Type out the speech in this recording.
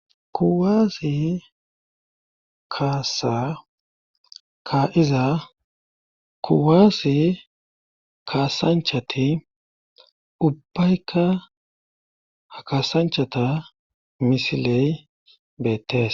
kuwaase kaasa ka'iza kuwaase kaasanchati ubbayka ha kasanchata misiley beettes